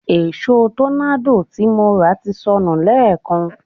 Èṣo tọ́nádò tí mo rà ti sọnù lẹ́èkan